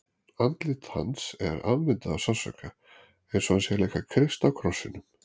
Andlit hans er afmyndað af sársauka, eins og hann sé að leika Krist á krossinum.